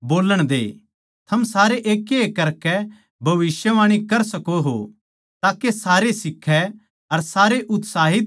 थम सारे एकएक करकै भविष्यवाणी कर सको हो ताके सारे सीखै अर सारे उत्साहित भी हो जावै